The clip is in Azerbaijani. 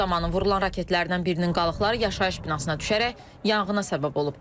Hücum zamanı vurulan raketlərdən birinin qalıqları yaşayış binasına düşərək yanğına səbəb olub.